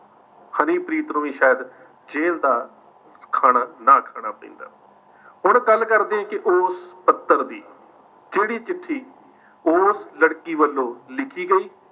ਹਨੀਪ੍ਰੀਤ ਨੂੰ ਵੀ ਸ਼ਾਇਦ ਜੇਲ੍ਹ ਦਾ ਖਾਣਾ ਨਾ ਖਾਣਾ ਪੈਂਦਾ। ਹੁਣ ਗੱਲ ਕਰਦਿਆਂ ਕਿ ਉਸ ਪੱਤਰ ਦੀ, ਜਿਹੜੀ ਚਿੱਠੀ ਉਸ ਲੜਕੀ ਵਲੋਂ ਲਿਖੀ ਗਈ